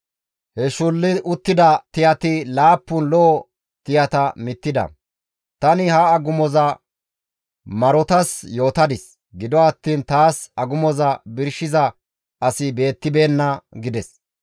He shulli uttida tiyati laappun lo7o tiyata mittida. Tani ha agumoza marotas yootadis; gido attiin taas agumoza birshiza asi beettibeenna» gides.